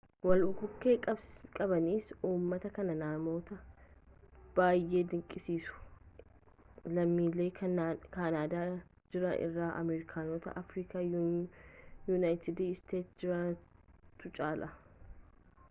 walbukkee qabiinsa ummata kan namoota bayyee dinqisiisu lammiilee kaanaadaa jiran irra amerikaanota afrikaa yuunaayitid isteetsii jiranitu caala